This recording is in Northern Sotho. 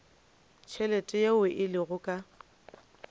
tšhelete yeo e lego ka